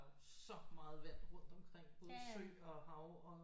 Så meget vand rundt omkring både sø og hav